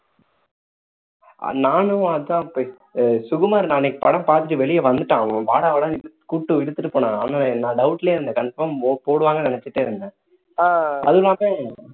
நானும் அதான் இப்போ சுகுமார் நான் அன்நைக்கு படம் பார்த்துட்டு வெளியே வந்துட்டேன் வாடா வாடான்னு கூப்பிட்டு இழுத்துட்டு போனான் நான் doubt லயே இருந்தேன் confirm போடுவாங்கன்னு நினைச்சிட்டே இருந்தேன் அதுவும் இல்லாம